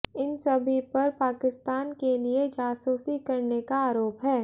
इन सभी पर पाकिस्तान के लिए जासूसी करने का आरोप है